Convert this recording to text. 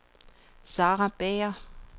Sara Bager